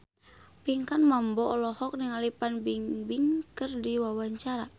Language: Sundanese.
Pinkan Mambo olohok ningali Fan Bingbing keur diwawancara